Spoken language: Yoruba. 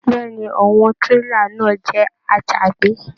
Bẹ̀ẹ́ni, àwọn tírélà náà jẹ àjàgbé.